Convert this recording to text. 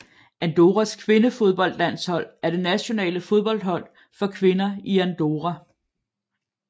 Andorras kvindefodboldlandshold er det nationale fodboldhold for kvinder i Andorra